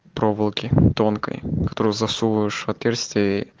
проволоки тонкой которую засовываешь в отверстие и